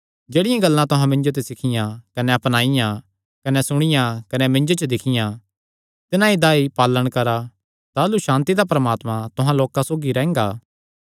जेह्ड़ियां गल्लां तुहां मिन्जो ते सिखियां कने अपनाईयां कने सुणियां कने मिन्जो च दिक्खियां तिन्हां ई दा पालण करदे रेह्आ ताह़लू सांति दा परमात्मा तुहां लोकां सौगी रैंह्गा